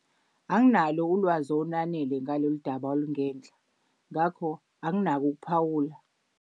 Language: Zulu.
Anginalo ulwazi olwanele ngalolu daba olungenhla, ngakho anginako ukuphawula.